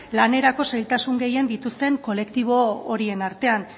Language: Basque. lanerako zailtasun gehien dituzten kolektibo horien artean